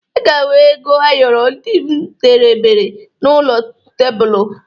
Ị ga-ahụ ego ayọrọ ndị m debere n'elu tebulu